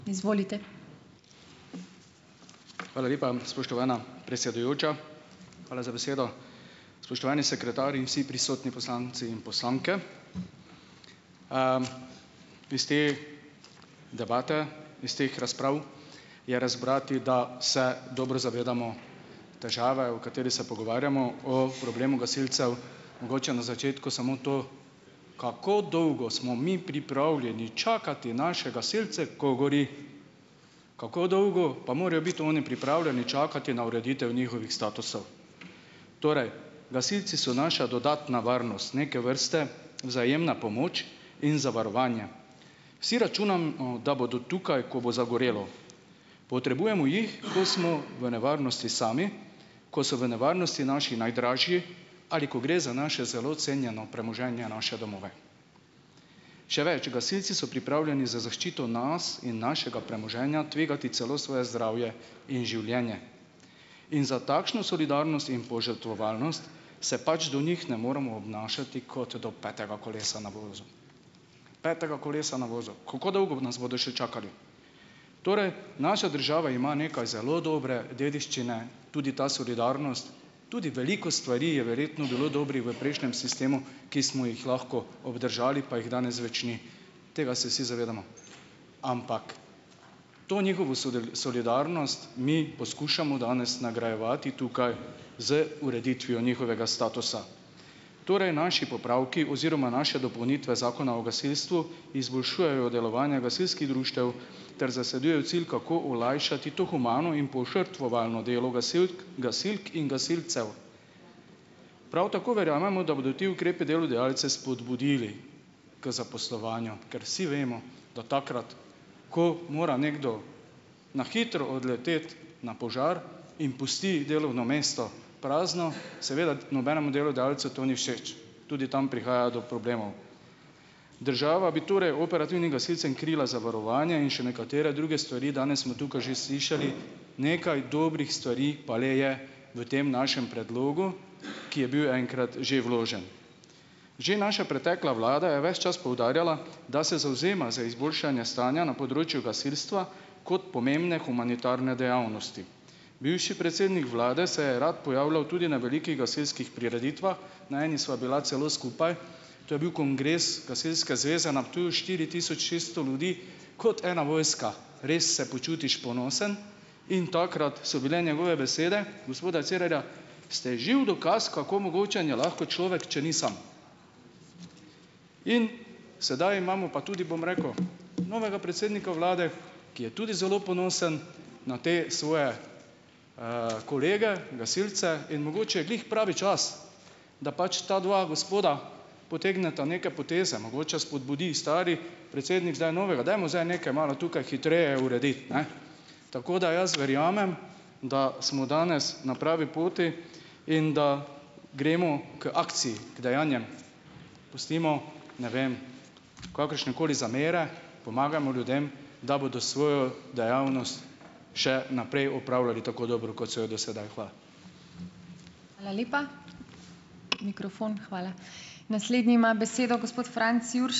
Hvala lepa, spoštovana predsedujoča. Hvala za besedo. Spoštovani sekretar in vsi prisotni poslanci in poslanke! Iz te debate, iz teh razprav je razbrati, da se dobro zavedamo težave, o kateri se pogovarjamo, o problemu gasilcev. Mogoče na začetku samo to, kako dolgo smo mi pripravljeni čakati naše gasilce, ko gori? Kako dolgo pa morejo biti oni pripravljeni čakati na ureditev njihovih statusov? Torej gasilci so naša dodatna varnost. Neke vrste vzajemna pomoč in zavarovanje. Vsi računamo, da bodo tukaj, ko bo zagorelo. Potrebujemo jih, ko smo v nevarnosti sami, ko so v nevarnosti naši najdražji ali ko gre za naše zelo cenjeno premoženje, naše domove. Še več, gasilci so pripravljeni za zaščito nas in našega premoženja tvegati celo svoje zdravje in življenje. In za takšno solidarnost in požrtvovalnost se pač do njih ne moremo obnašati kot do petega kolesa na vozu. Petega kolesa na vozu. Kako dolgo nas bodo še čakali? Torej, naša država ima nekaj zelo dobre dediščine. Tudi ta solidarnost. Tudi veliko stvari je verjetno bilo dobrih v prejšnjem sistemu, ki smo jih lahko obdržali, pa jih danes več ni. Tega se vsi zavedamo. Ampak to njihovo solidarnost mi poskušamo danes nagrajevati tukaj z ureditvijo njihovega statusa. Torej naši popravki oziroma naše dopolnitve Zakona o gasilstvu izboljšujejo delovanje gasilskih društev ter zasledujejo cilj, kako olajšati to humano in požrtvovalno delo gasilk, gasilk in gasilcev. Prav tako verjamemo, da bodo ti ukrepi delodajalce spodbudili k zaposlovanju. Ker vsi vemo, da takrat, ko mora nekdo na hitro odleteti na požar in pusti delovno mesto prazno, seveda nobenemu delodajalcu to ni všeč. Tudi tam prihaja do problemov. Država bi torej operativnim gasilcem krila zavarovanje in še nekatere druge stvari, danes smo tukaj že slišali, nekaj dobrih stvari pa le je v tem našem predlogu, ki je bil enkrat že vložen. Že naša pretekla vlada je ves čas poudarjala, da se zavzema za izboljšanje stanja na področju gasilstva kot pomembne humanitarne dejavnosti. Bivši predsednik vlade se je rad pojavljal tudi na velikih gasilskih prireditvah. Na eni sva bila celo skupaj. To je bil kongres Gasilske zveze na Ptuju, štiri tisoč šeststo ljudi kot ena vojska. Res se počutiš ponosen in takrat so bile njegove besede, gospoda Cerarja, ste živ dokaz, kako mogočen je lahko človek, če ni sam. In sedaj imamo pa tudi, bom rekel, novega predsednika vlade, ki je tudi zelo ponosen na te svoje kolege, gasilce, in mogoče je glih pravi čas, da pač ta dva gospoda potegneta neke poteze, mogoče spodbudi stari predsednik zdaj novega: "Dajmo zdaj nekaj malo tukaj hitreje urediti, ne." Tako, da jaz verjamem, da smo danes na pravi poti in da gremo k akciji, k dejanjem, pustimo, ne vem, kakršnekoli zamere, pomagajmo ljudem, da bodo svojo dejavnost še naprej opravljali tako dobro, kot so jo do sedaj. Hvala.